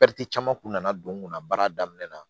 caman kun nana don n kunna baara daminɛ na